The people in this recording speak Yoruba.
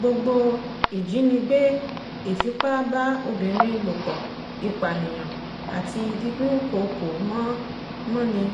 gbogbo ìjínigbé ìfipá-bá-obìnrin ló pọ ìpànìyàn àti dídúnkooko mọ́ ni